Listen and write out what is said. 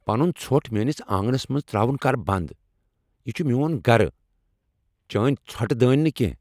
پنن ژھۄٹھ میٛٲنس آنٛگنس منٛز ترٛاون کر بنٛد، یہ چھ میٛون گرٕ چٲنۍ ژھۄٹہٕ دنۍ نہٕ کٮ۪نٛہہ